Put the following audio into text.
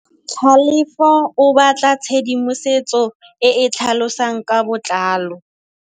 Tlhalefô o batla tshedimosetsô e e tlhalosang ka botlalô.